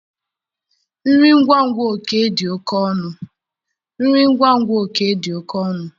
Nri ngwa ngwa Oke dị oke ọnụ